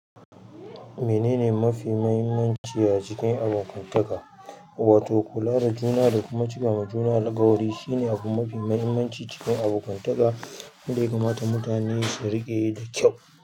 Menene mafi muhimmanci a cikin abokantaka? Wato, kula da juna da kuma cika wa juna alƙawari shine abu mafi muhimmanci cikin abokantaka, wanda ya kamata mutane su riƙe da kyau.